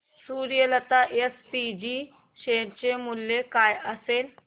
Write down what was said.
Suryalata SPG share चे मूल्य काय असेल